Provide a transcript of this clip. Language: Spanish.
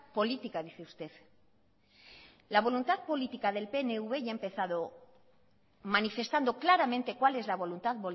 política dice usted la voluntad política del pnv y ha empezado manifestando claramente cual es la voluntad